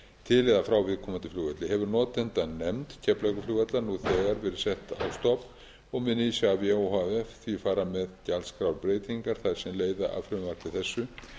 til eða frá viðkomandi flugvelli hefur notendanefnd keflavíkurflugvallar nú þegar verið sett á stofn og mun isavia o h f því fara með gjaldskrárbreytingar þær sem leiða af frumvarpi þessu